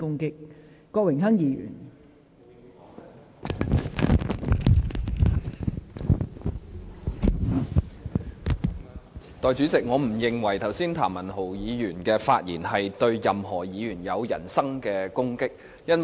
代理主席，我不認為剛才譚文豪議員的發言對任何議員有人身攻擊。